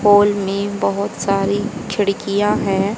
Hall में बहोत सारी खिड़कियां हैं।